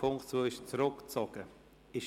Der Punkt 2 ist zurückgezogen worden.